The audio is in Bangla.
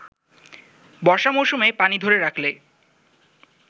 বর্ষা মৌসুমে পানি ধরে রাখলে